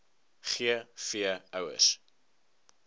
g v ouers